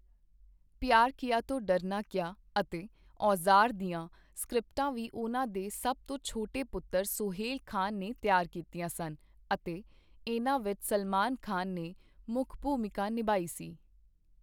ਪਿਆਰ ਕੀਆ ਤੋ ਡਰਨਾ ਕਯਾ' ਅਤੇ 'ਔਜ਼ਾਰ' ਦੀਆਂ ਸਕ੍ਰਿਪਟਾਂ ਵੀ ਉਹਨਾਂ ਦੇ ਸਭ ਤੋਂ ਛੋਟੇ ਪੁੱਤਰ ਸੋਹੇਲ ਖਾਨ ਨੇ ਤਿਆਰ ਕੀਤੀਆਂ ਸਨ ਅਤੇ ਇਹਨਾਂ ਵਿੱਚ ਸਲਮਾਨ ਖਾਨ ਨੇ ਮੁੱਖ ਭੂਮਿਕਾ ਨਿਭਾਈ ਸੀ।